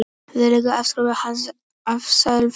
Þá lauk afskiptum hans af sálfræði.